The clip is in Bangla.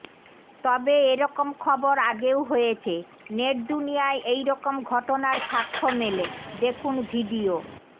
তবে এরকম খবর আগেও হয়েছে নেটদুনিয়ায় এইরকম ঘটনার সাক্ষ্য মেলে দেখুন ভিডিও